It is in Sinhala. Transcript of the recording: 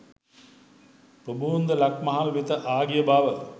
ප්‍රභූන්ද ලක්මහල් වෙත ආගිය බව